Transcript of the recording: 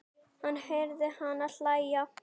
Hún heyrir hana hlæja.